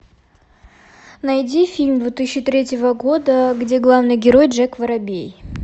найди фильм две тысячи третьего года где главный герой джек воробей